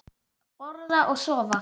Borða og sofa.